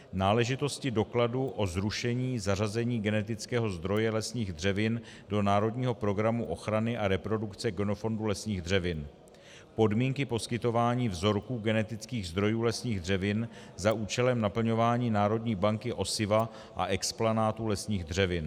Náležitosti dokladu o zrušení zařazení genetického zdroje lesních dřevin do národního programu ochrany a reprodukce genofondu lesních dřevin: Podmínky poskytování vzorků genetických zdrojů lesních dřevin za účelem naplňování národní banky osiva a explanátů lesních dřevin.